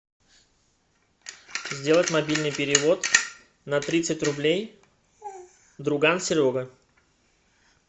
сделать мобильный перевод на тридцать рублей друган серега